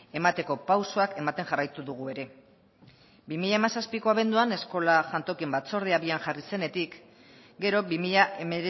emateko pausoak ematen jarraitu dugu ere bi mila hamazazpiko abenduan eskola jantokien batzordea abian jarri zenetik gero bi mila